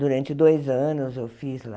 Durante dois anos eu fiz lá.